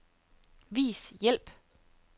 Vis hjælp.